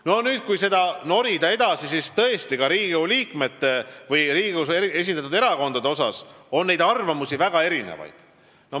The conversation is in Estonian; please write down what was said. Kui nüüd edasi norida, siis ka Riigikogu liikmete, Riigikogus esindatud erakondade seas on väga erinevaid arvamusi.